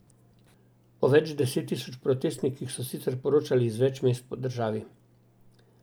O več deset tisoč protestnikih so sicer poročali iz več mest po državi.